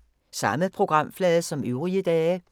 Samme programflade som øvrige dage